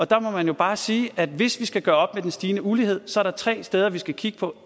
der må man bare sige at hvis vi skal gøre op med den stigende ulighed så er der tre steder vi skal kigge på